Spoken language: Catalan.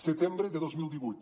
setembre de dos mil divuit